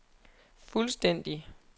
fuldstændig